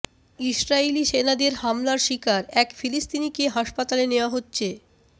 ইসরাইলি সেনাদের হামলার শিকার এক ফিলিস্তিনিকে হাসপাতালে নেয়া হচ্ছে